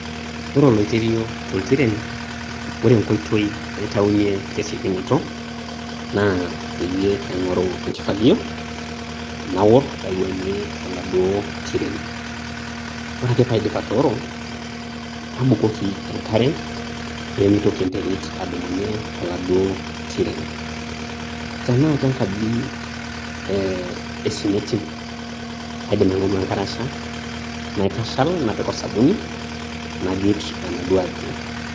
Ore oloiterio toltiren, ore enkoitoi naitaunte tesiokinoto, na peyie aing'oru enkifagio, naor naiwuang'ie toladuo tiren. Ore ake pe adip atooro, nabukoki enkare, pemitoki enterit adumunye toladuo tiren. Tenaa kenkaji eh esimiti, kaidim aing'oru enkarasha, naitashal, napik osabuni, najut enaduo aji.